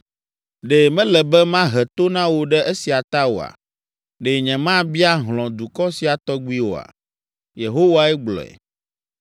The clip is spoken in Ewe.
Ɖe mele be mahe to na wo ɖe esia ta oa? Ɖe nyemabia hlɔ̃ dukɔ sia tɔgbi oa?” Yehowae gblɔe.